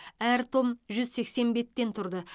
әр том жүз сексен беттен тұрды